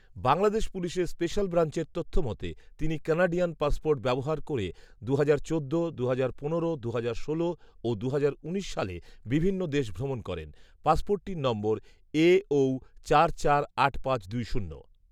বাংলাদেশ পুলিশের স্পেশাল ব্রাঞ্চের তথ্যমতে, তিনি কানাডিয়ান পাসপোর্ট ব্যবহার করে দুহাজার চোদ্দ, দুহাজার পনেরো, দুহাজার ষোল ও দুহাজার উনিশ সালে বিভিন্ন দেশ ভ্রমণ করেন। পাসপোর্টটির নম্বর এ ঐ চার চার আট পাঁচ দুই শূন্য